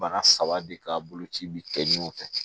Bara saba de k'a boloci bi kɛ ɲɔgɔn fɛ